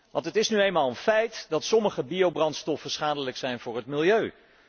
Want het is nu eenmaal een feit dat sommige biobrandstoffen schadelijk zijn voor het milieu.